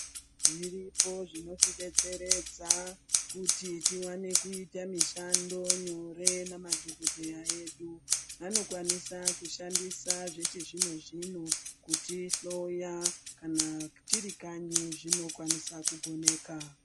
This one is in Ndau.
Zviripo zvinotidetseredza kuti tiwane kuita mishando nyore namadhokodheya edu anokwanisa kushandisa zvechizvino -zvino kutihloya kana tiri kanyi zvinokwanisa kugoneka.